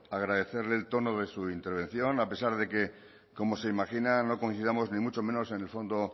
agradecerle el tono de su intervención a pesar de que como se imagina no coincidamos ni mucho menos en el fondo